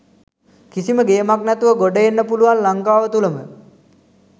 කිසිම ගේමක් නැතිව ගොඩ එන්න පුළුවන් ලංකාව තුලම.